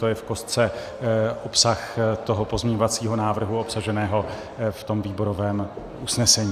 To je v kostce obsah toho pozměňovacího návrhu obsaženého v tom výborovém usnesení.